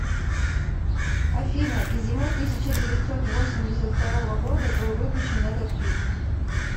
афина и зимой тысяча девятьсот восемьдесят второго года был выпущен этот фильм